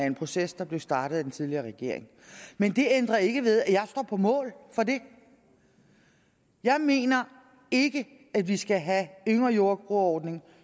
en proces der blev startet af den tidligere regering men det ændrer ikke ved at jeg står på mål for det jeg mener ikke at vi skal have yngre jordbrugere ordningen